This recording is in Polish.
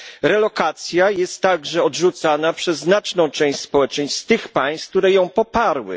Relokacja jest także odrzucana przez znaczną część społeczeństw tych państw, które ją poparły.